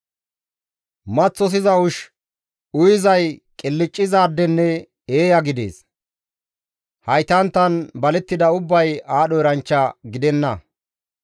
Maththosiza ushshi uyizay qilccizaadenne eeya gidees; haytanttan balettida ubbay aadho eranchcha gidenna.